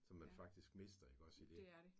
Som man faktisk mister iggås i det